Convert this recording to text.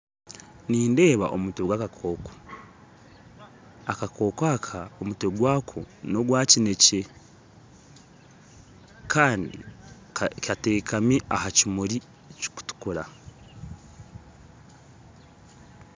Nindeeba omutwe gwakakooko, akakooko aka omutwe gwako nogwakinekye Kandi kateekami aha kimuri kirikutukura